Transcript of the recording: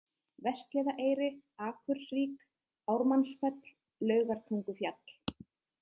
Vestliðaeyri, Akursvík, Ármannsfell, Laugartungufjall